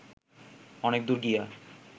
অনেক দূর গিয়া